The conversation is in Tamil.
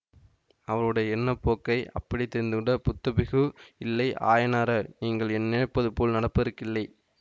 அவருடைய எண்ணப்போக்கை அப்படியே தெரிந்து கொண்ட புத்தபிக்ஷு இல்லை ஆயனாரே நீங்கள் நினைப்பதுபோல் நடப்பதற்கில்லை